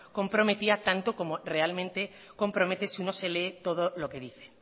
comprometía tanto como realmente compromete si uno se lee todo lo que dice